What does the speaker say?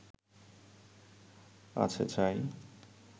আছে ছাই